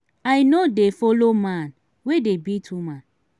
i no dey like follow man wey dey beat woman